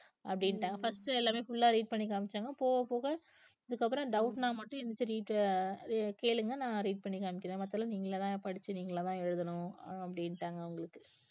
அப்படின்னுட்டாங்க first எல்லாமே full ஆ read பண்ணி காமிச்சாங்க போக போக இதுக்கு அப்புறம் doubt ன்னா மட்டும் எந்திரிச்சு re~ அஹ் அஹ் கேளுங்க நான் read பண்ணி காமிக்கிறேன் மத்ததெல்லாம் நீங்களாதான் படிச்சு நீங்களாதான் எழுதணும் அப்படின்னுட்டாங்க அவங்களுக்கு